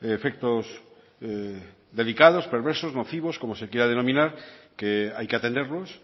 efectos delicados perversos nocivos como se quiera denominar que hay que atenderlos